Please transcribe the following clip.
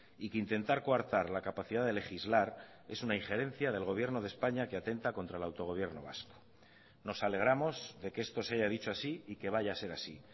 y que intentar coartar la capacidad de legislar es una injerencia del gobierno de españa que atenta contra el autogobierno vasco nos alegramos de que esto se haya dicho así y que vaya a ser así